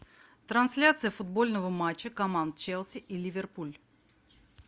трансляция футбольного матча команд челси и ливерпуль